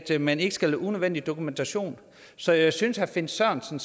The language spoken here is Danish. man ikke skal have unødvendig dokumentation så jeg synes herre finn sørensen